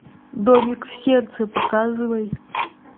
домик в сердце показывай